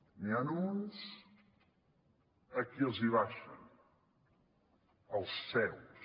n’hi ha uns a qui els abaixen als seus